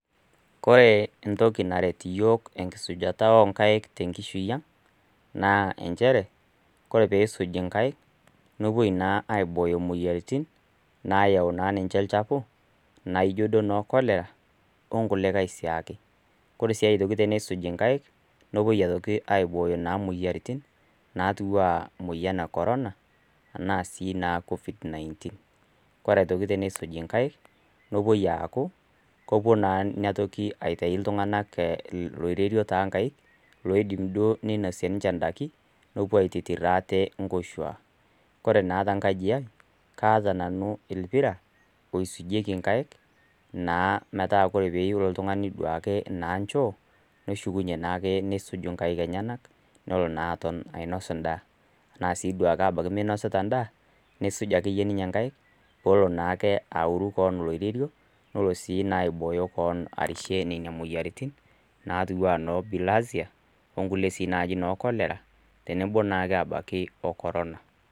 Ore entoki naret iyiok tenkisujata oo nkaik tenkishui ang', naa nchere, ore pee isuj inkaik, nepuoi naa aibooyo imoyiaritin, naayau naa niche olchafu, naijo duo ana noo Cholera, o nkuliakai sii ake. Ore sii aitoki teneisuji inkai, nepuoi aitoki naa aibooyo imoyiaritin, naatiu naa anaa emoyian e korona, anaa sii duo ina Covid -19. Kore aitoki teneisuji inkaik, nepuoi aaku, kepuoi naa ina toki itayu iltung'ana oloirerio toonkaik, lodim duo neinosie ninche inddaiki, nepuo aitotir aate inkoshua. Ore naa tenkaji aai, naata nanu olppira, oisujieki inkaik, metaa ore pee eyou nelo oltung'ani naake naa inchoo, neshukunye naake nesuj naake inkaik enyena, nelo naa aton ainos endaa. Anaa sii duao ake meinosita enda, neisuj ake iyie ninye inkaik , pelo naake aoru kewo oloirerio, nelo sii naaji aibooyo kewon arishie nena moyiaritin naatu anaa naaji noo Bilharzia, onkulie sii inkulie naaji cholera, ttenebo naa siia ke abaiki o Korona.